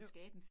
Jo